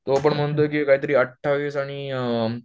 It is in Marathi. तो पण म्हणतोय की काहीतरी अठ्ठावीस आणि